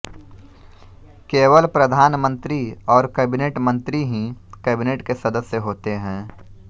केवल प्रधानमन्त्री और कैबिनेट मन्त्री ही कैबिनेट के सदस्य होते हैं